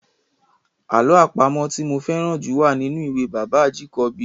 Àlọ́ àpamọ̀ tí mo fẹ́ràn jù wà nínú ìwé bàbá Ajíkòbí.